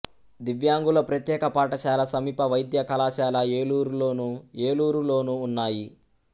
దివ్యాంగుల ప్రత్యేక పాఠశాల సమీప వైద్య కళాశాల ఏలూరులోను ఏలూరు లోనూ ఉన్నాయి